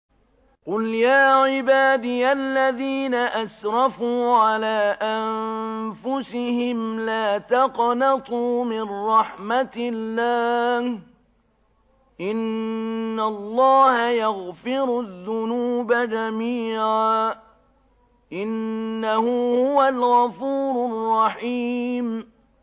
۞ قُلْ يَا عِبَادِيَ الَّذِينَ أَسْرَفُوا عَلَىٰ أَنفُسِهِمْ لَا تَقْنَطُوا مِن رَّحْمَةِ اللَّهِ ۚ إِنَّ اللَّهَ يَغْفِرُ الذُّنُوبَ جَمِيعًا ۚ إِنَّهُ هُوَ الْغَفُورُ الرَّحِيمُ